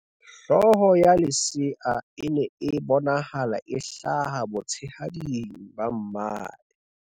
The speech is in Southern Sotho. hlooho ya lesea e ne e bonahala e hlaha botshehading ba mmae